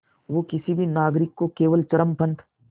वो किसी भी नागरिक को केवल चरमपंथ